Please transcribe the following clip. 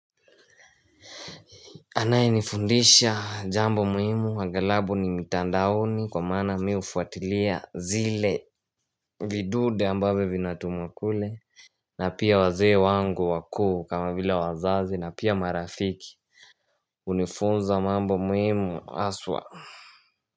Anaye nifundisha jambo muhimu angalabu ni mitandaoni kwa maana mi hufuatilia zile vidude ambavyo vinatumwakule na pia wazee wangu wakuu kama vile wazazi na pia marafiki Unifunza mambo muhimu aswa.